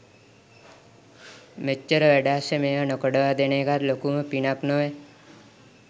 මෙච්චර වැඩ අස්සේ මේවා නොකඩවා දෙන එකත් ලොකුම පිනක් නොවැ.